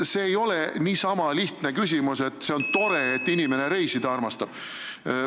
See ei ole niisama lihtne küsimus, millele võiks vastata, et see on tore, kui inimene reisida armastab.